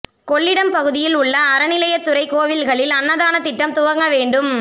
கொள்ளிடம் பகுதியில் உள்ள அறநிலையத் துறை கோயில்களில் அன்னதான திட்டம் துவங்க வேண்டும்